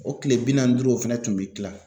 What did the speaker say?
O kile bi naanni duuru o fɛnɛ tun bɛ kilan